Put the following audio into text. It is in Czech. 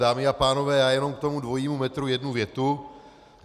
Dámy a pánové, já jenom k tomu dvojímu metru jednu větu.